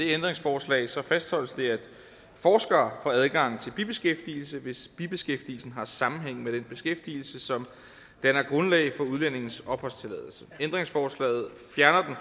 ændringsforslag som fastholdes det at forskere får adgang til bibeskæftigelse hvis bibeskæftigelsen har sammenhæng med den beskæftigelse som danner grundlag for udlændingens opholdstilladelse ændringsforslaget fjerner